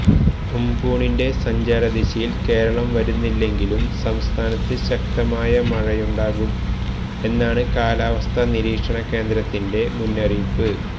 ഉംപുണിന്റെ സഞ്ചാരദിശയില് കേരളം വരുന്നില്ലെങ്കിലും സംസ്ഥാനത്ത് ശക്തമായ മഴയുണ്ടാകും എന്നാണ് കാലാവസ്ഥാ നിരീക്ഷണ കേന്ദ്രത്തിന്റെ മുന്നറിയിപ്പ്